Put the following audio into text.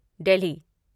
Delhi